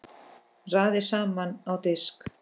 Raðið saman á disk.